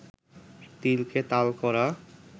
তিলকে তাল করা